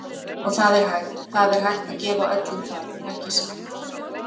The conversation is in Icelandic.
Og það er hægt, það er hægt að gefa öllum það, ekki satt?